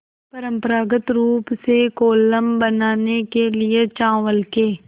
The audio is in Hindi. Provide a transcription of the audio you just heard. परम्परागत रूप से कोलम बनाने के लिए चावल के